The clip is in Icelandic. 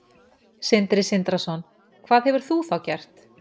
Sindri Sindrason: Hvað hefur þú þá gert?